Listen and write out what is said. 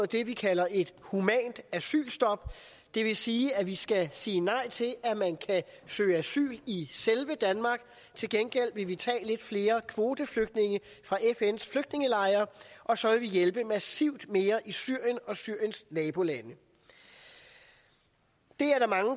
det vi kalder et humant asylstop det vil sige at vi skal sige nej til at man kan søge asyl i selve danmark til gengæld vil vi tage lidt flere kvoteflygtninge fra fns flygtningelejre og så vil vi hjælpe massivt mere i syrien og syriens nabolande det